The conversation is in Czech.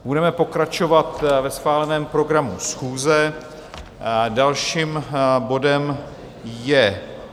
Budeme pokračovat ve schváleném programu schůze, dalším bodem je